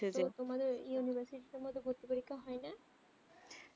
তো তোমাদের university মদদে ভর্তিপরীক্ষা হয়ে না